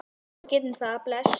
Já, við gerum það. Bless.